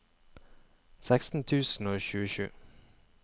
seksten tusen og tjuesju